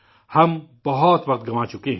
ہم بہت وقت ضائع کر چکے ہیں